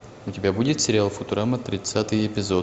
у тебя будет сериал футурама тридцатый эпизод